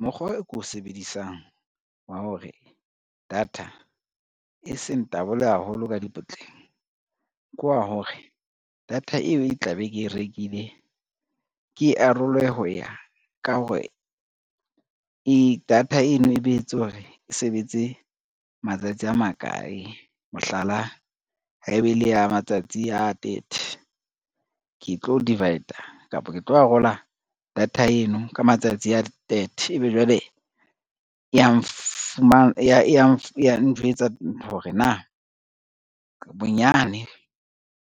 Mokgwa e ko o sebedisang wa hore data e seng tabolwe haholo ka dipotleng ke wa hore, data eo e tla be ke e rekile ke arolwe ho ya ka hore data eno e behetswe hore e sebetse matsatsi a makae. Mohlala, ha eba e le ya matsatsi a thirty, ke tlo divide-a kapa ke tlo arola data eno ka matsatsi a thirty, ebe jwale e yang njwetsa hore na bonyane